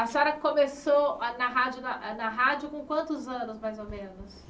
A senhora começou a na rádio na a na rádio com quantos anos, mais ou menos?